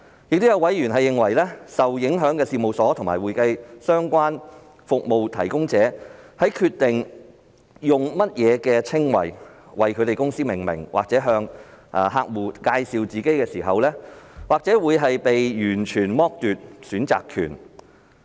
另外，有委員認為，受影響的事務所及會計相關服務提供者在決定以何稱謂為其公司命名或向客戶介紹自己時，或會被完全剝奪選擇權。